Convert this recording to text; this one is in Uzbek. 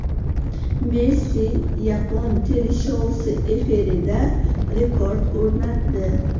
Messi yapon teleshousi efirida rekord o‘rnatdi .